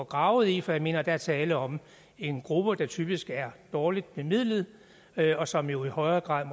gravet i for jeg mener at der er tale om en gruppe der typisk er dårligt bemidlet og som jo i højere grad